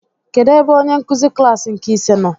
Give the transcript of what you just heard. Kedụ ebe onyenkụzi klaasị nke ise nọ?